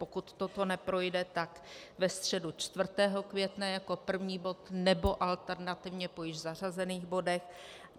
Pokud toto neprojde, tak ve středu 4. května jako první bod, nebo alternativně po již zařazených bodech.